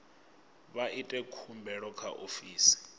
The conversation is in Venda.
vha ite khumbelo kha ofisi